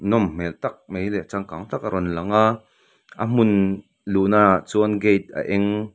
nawm hmel tak mai leh changkang tak a rawn lang a a hmun luhnaah chuan gate a eng --